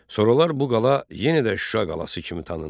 Sonralar bu qala yenidə Şuşa qalası kimi tanındı.